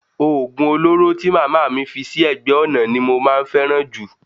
Oògùn olóró tí màmá mi fi sí ẹ̀gbẹ́ ọ̀nà ni mo máa ń fẹ́ràn jù